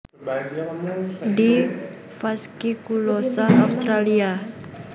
D fasciculosa Australia